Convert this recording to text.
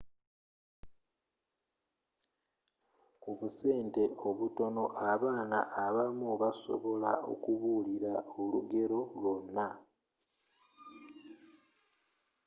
ku busente obutono abaana abamu basobola okubuulir aolugero lwonna